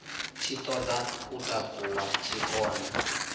tshi ṱoḓa u takuwa tshikona